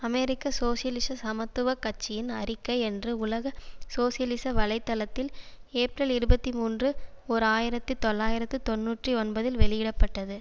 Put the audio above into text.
அமெரிக்க சோசியலிச சமத்துவ கட்சியின் அறிக்கை என்று உலக சோசியலிச வலை தளத்தில் ஏப்ரல் இருபத்தி மூன்று ஓர் ஆயிரத்தி தொள்ளாயிரத்தி தொன்னூற்றி ஒன்பதில் வெளியிட பட்டது